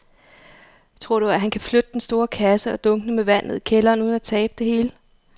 Tror du, at han kan flytte den store kasse og dunkene med vand ned i kælderen uden at tabe det hele?